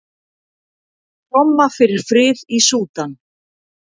Tromma fyrir frið í Súdan